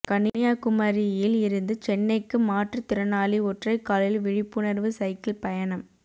கன்னியாகுமரியில் இருந்து சென்னைக்கு மாற்றுத் திறனாளி ஒற்றைக்காலில் விழிப்புணா்வு சைக்கிள் பயணம்